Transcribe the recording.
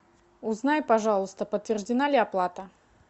узнай пожалуйста подтверждена ли оплата